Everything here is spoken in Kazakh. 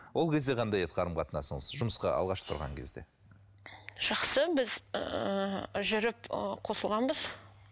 ол кезде қандай еді қарым қатынасыңыз жұмысқа алғаш тұрған кезде жақсы біз ііі жүріп ыыы қосылғанбыз